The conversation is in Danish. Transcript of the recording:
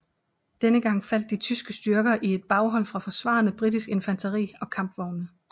Denne gang faldt de tyske styrker i et baghold fra forsvarende britisk infanteri og kampvogne